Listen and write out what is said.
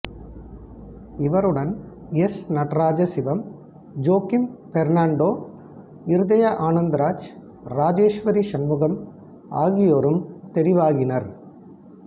இவருடன் S Nadarajasivam Joachim Fernando Iruthaya Anandaraj Rajeswari Shanmugam ஆகியோரும் தெரிவாகினர்